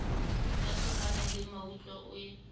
ya sehohwana le mmutla e